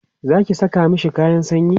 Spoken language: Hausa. Zaki Saka mashi kayan sanyi?